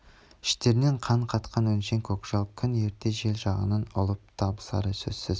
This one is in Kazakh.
іштеріне қан қатқан өңшең көкжал күн ертең жел жағынан ұлып табысары сөзсіз